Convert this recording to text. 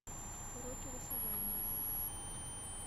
уроки рисования